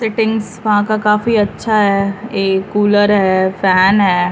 Settings वहाँ का काफी अच्छा है ये कूलर है फैन है।